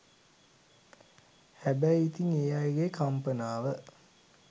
හැබැයි ඉතිං ඒ අයගේ කම්පනාව